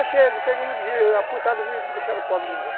Achei, eu peguei uma putada e me deixaram pobre de novo.